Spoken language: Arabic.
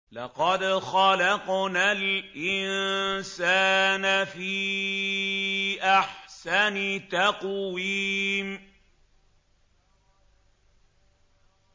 لَقَدْ خَلَقْنَا الْإِنسَانَ فِي أَحْسَنِ تَقْوِيمٍ